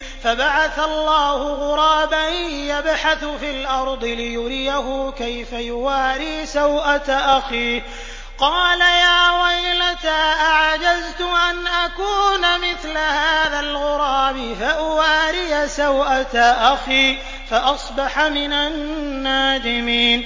فَبَعَثَ اللَّهُ غُرَابًا يَبْحَثُ فِي الْأَرْضِ لِيُرِيَهُ كَيْفَ يُوَارِي سَوْءَةَ أَخِيهِ ۚ قَالَ يَا وَيْلَتَا أَعَجَزْتُ أَنْ أَكُونَ مِثْلَ هَٰذَا الْغُرَابِ فَأُوَارِيَ سَوْءَةَ أَخِي ۖ فَأَصْبَحَ مِنَ النَّادِمِينَ